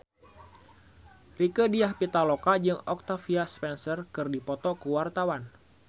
Rieke Diah Pitaloka jeung Octavia Spencer keur dipoto ku wartawan